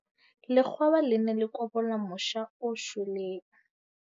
Lekgwaba le ne le kobola mosha o shweleng.